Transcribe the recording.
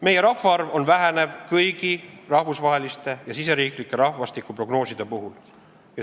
Meie rahvaarv väheneb, nii näitavad kõik rahvusvahelised ja riigisisesed rahvastikuprognoosid.